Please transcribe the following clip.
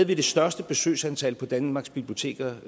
det største besøgsantal på danmarks biblioteker